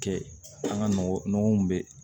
Kɛ an ka nɔgɔ nɔgɔ min bɛ